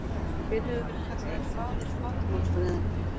Hver hefur verið kallaður faðir flatarmálsfræðinnar?